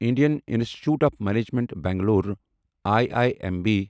Indian institute of management Bangalore I I M B